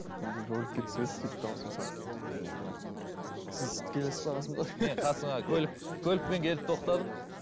бір роликке түсіп едік сөйтіп дауысын салып ыыы сіз келесіз бе қасымызға мен қасыңа көлік көлікпен келіп тоқтадым